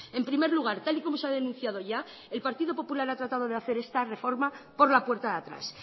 en primer lugar tal y como se ha denunciado ya el partido popular ha tratado de hacer esta reforma por la puerta de atrás